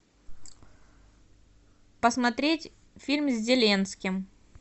посмотреть фильм с зеленским